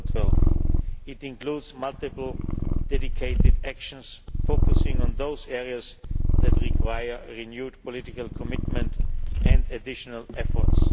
in 2012. It includes multiple dedicated actions focusing on those areas that require renewed political commitment and additional efforts.